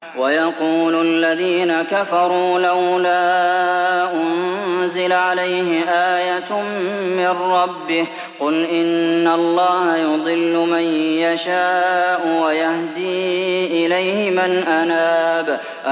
وَيَقُولُ الَّذِينَ كَفَرُوا لَوْلَا أُنزِلَ عَلَيْهِ آيَةٌ مِّن رَّبِّهِ ۗ قُلْ إِنَّ اللَّهَ يُضِلُّ مَن يَشَاءُ وَيَهْدِي إِلَيْهِ مَنْ أَنَابَ